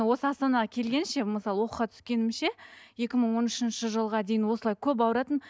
осы астанаға келгенше мысалы оқуға түскенімше екі мың он үшінші жылға дейін осылай көп ауыратынмын